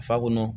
Fa kɔnɔ